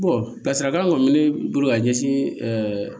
lasirakan kɔni bɛ ne bolo ka ɲɛsin